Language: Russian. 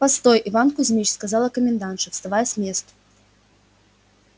постой иван кузьмич сказала комендантша вставая с места